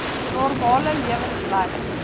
normale lewens lei